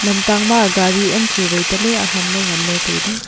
lamtang ma gari am chu wai tale aham ley ngan ley tai ley.